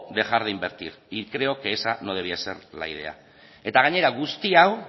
dejar de invertir y creo que esa no debía de ser la idea eta gainera guzti hau